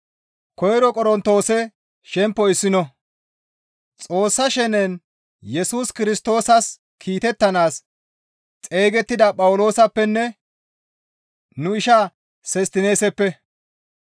Xoossa shenen Yesus Kirstoosas kiitettanaas xeygettida Phawuloosappenne nu ishaa Sostineeseppe,